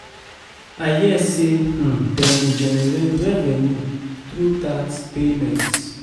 I hear say um dem dey generate revenue through tax payments